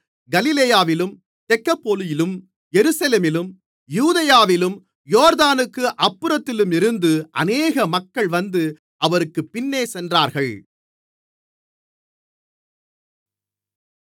கலிலேயாவிலும் தெக்கப்போலியிலும் எருசலேமிலும் யூதேயாவிலும் யோர்தானுக்கு அப்புறத்திலுமிருந்து அநேக மக்கள் வந்து அவருக்குப் பின்னே சென்றார்கள்